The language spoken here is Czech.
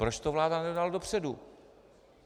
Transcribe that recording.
Proč to vláda nedala dopředu?